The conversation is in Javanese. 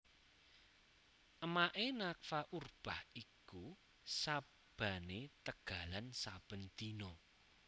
Emake Nafa Urbach iku sabane tegalan saben dina